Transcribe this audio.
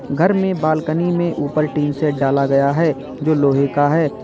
घर में बालकनी में ऊपर टीन सेट डाला गया है जो लोहे का है।